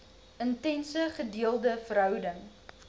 intense gedeelde verhouding